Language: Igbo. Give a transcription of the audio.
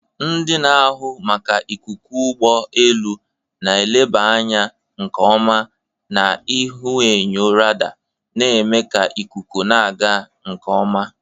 Ndị na-ahụ maka ikuku ụgbọ elu na-eleba anya nke ọma na ihuenyo radar, na-eme ka ikuku na-aga nke ọma.